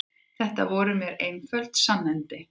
Þetta voru mér einföld sannindi.